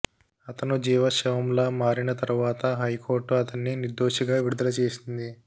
అతను జీవచ్ఛవంలా మారిన తరువాత హైకోర్టు అతన్ని నిర్దోషిగా విడుదల చేసింది